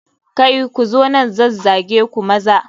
Kai! Ku zo nan zazzage ku maza.